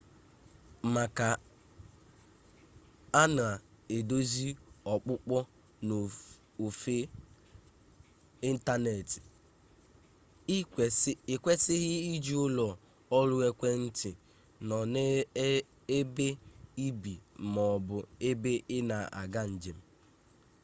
maka a na-eduzi ọkpụkpọ n'ofe ịntanetị ị kwesịghị iji ụlọ ọrụ ekwentị nọ n'ebe ị bi ma ọ bụ ebe ị na-aga njem